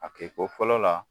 A kɛko fɔlɔ la